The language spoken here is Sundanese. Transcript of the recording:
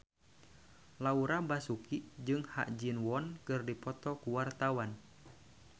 Laura Basuki jeung Ha Ji Won keur dipoto ku wartawan